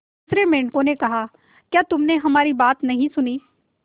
दूसरे मेंढकों ने कहा क्या तुमने हमारी बात नहीं सुनी